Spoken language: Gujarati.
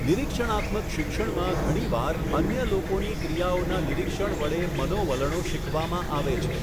નિરીક્ષણાત્મક શિક્ષણમાં ઘણીવાર અન્ય લોકોની ક્રિયાઓના નિરીક્ષણ વડે મનોવલણો શીખવામાં આવે છે.